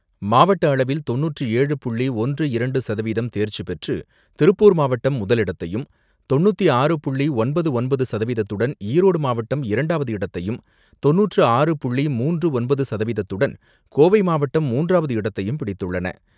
மாவட்ட அளவில் தொண்ணூற்று ஏழு புள்ளி ஒன்று இரண்டு சதவீதம் தேர்ச்சி பெற்று திருப்பூர் மாவட்டம் முதலிடத்தையும், தொண்ணூற்று ஆறு புள்ளி ஒன்பது ஒன்பது சதவீதத்துடன் ஈரோடு மாவட்டம் இரண்டாவது இடத்தையும், தொண்ணூற்று ஆறு புள்ளி மூன்று ஒன்பது சதவீதத்துடன் கோவை மாவட்டம் மூன்றாவது இடத்தையும் பிடித்துள்ளன.